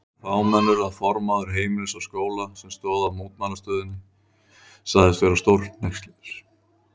Svo fámennur að formaður Heimilis og Skóla, sem stóð að mótmælastöðunni sagðist vera stórhneykslaður.